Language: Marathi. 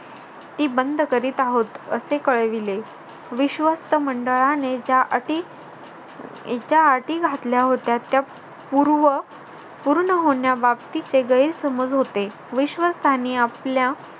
ती बंद करीत आहोत असे कळविले. विश्वस्त मंडळाने ज्या अटी ज्या अटी घातल्या होत्या, त्या पूर्व पूर्ण होण्याबाबतिचे गैरसमज होते. विश्वास्तनीय आपल्या